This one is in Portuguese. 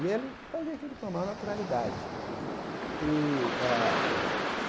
E ele fazia aquilo com a maior naturalidade e ah.